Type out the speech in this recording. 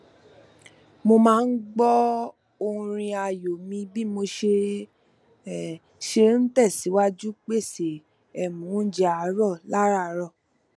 mo máa n gbọ orin ààyò mi bí mo ṣe ṣe n tẹsìwájú pèsè um oúnjẹ àárọ lárààrọ